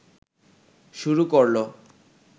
শুরু করলো